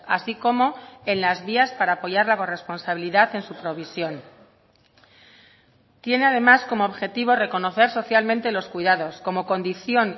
así como en las vías para apoyar la corresponsabilidad en su provisión tiene además como objetivo reconocer socialmente los cuidados como condición